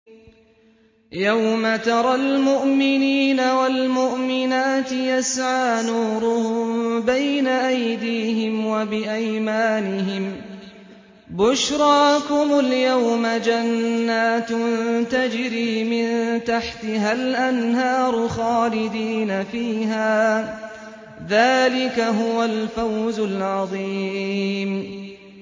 يَوْمَ تَرَى الْمُؤْمِنِينَ وَالْمُؤْمِنَاتِ يَسْعَىٰ نُورُهُم بَيْنَ أَيْدِيهِمْ وَبِأَيْمَانِهِم بُشْرَاكُمُ الْيَوْمَ جَنَّاتٌ تَجْرِي مِن تَحْتِهَا الْأَنْهَارُ خَالِدِينَ فِيهَا ۚ ذَٰلِكَ هُوَ الْفَوْزُ الْعَظِيمُ